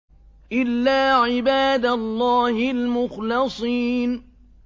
إِلَّا عِبَادَ اللَّهِ الْمُخْلَصِينَ